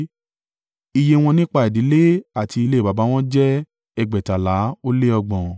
Iye wọn nípa ìdílé àti ilé baba wọn jẹ́ ẹgbẹ̀tàlá ó lé ọgbọ̀n (2,630).